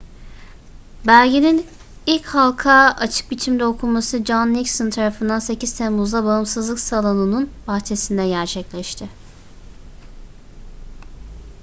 belgenin ilk halka açık biçimde okunması john nixon tarafından 8 temmuz'da bağımsızlık salonu'nun bahçesinde gerçekleşti